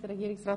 Regierungsrat